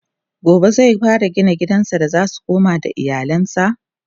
gobe zai fara gina gidan da zasu koma da iyalansa?